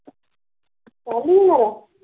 ਹੁਣਾ ਦਾ